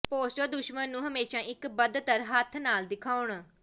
poster ਦੁਸ਼ਮਣ ਨੂੰ ਹਮੇਸ਼ਾ ਇੱਕ ਬਦਤਰ ਹੱਥ ਨਾਲ ਦਿਖਾਉਣ